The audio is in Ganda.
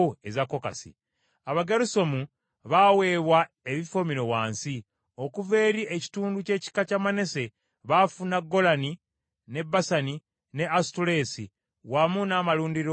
Abagerusomu baaweebwa ebifo bino wansi: okuva eri ekitundu ky’ekika kya Manase baafuna Golani mu Basani ne Asutoleesi, wamu n’amalundiro byako.